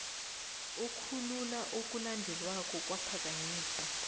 okulula okulandelako kwaphakanyiswa